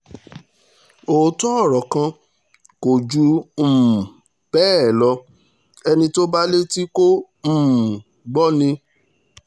òótọ́ ọ̀rọ̀ kan kò kan kò jù um bẹ́ẹ̀ lọ ẹni tó bá létí kò um gbọ́ ni